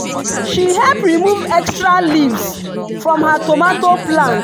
she help remove extra leaves from her tomato plant.